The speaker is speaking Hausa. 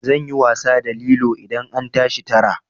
Zan yi wasa da lilo idan an tashi tara.